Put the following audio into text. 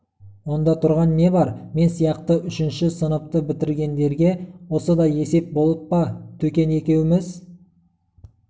онда тұрған не бар мен сияқты үшінші сыныпты бітіргендерге осы да есеп болып па төкен екеуіміз